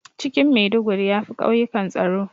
Cikin Maiduguri yafi ƙauyikan tsaro